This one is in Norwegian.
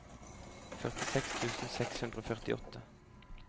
førtiseks tusen seks hundre og førtiåtte